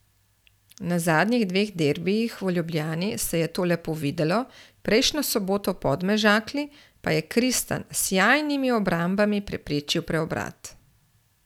Na zadnjih dveh derbijih v Ljubljani se je to lepo videlo, prejšnjo soboto v Podmežakli pa je Kristan s sijajnimi obrambami preprečil preobrat.